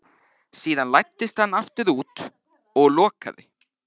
Síðan læddist hann aftur út og lokaði.